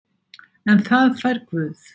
En það fær Guð.